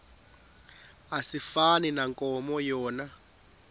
asifani nankomo yona